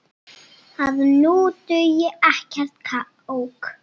að nú dugi ekkert kák!